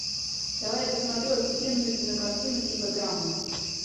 давай я посмотрю офигенную кинокартину типа драмы